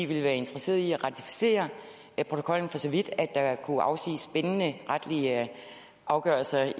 ville være interesseret i at ratificere protokollen for så vidt at der kunne afsiges bindende retlige afgørelser